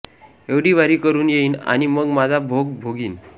एवढी वारी करून येईन आणि मग माझा भोग भोगीन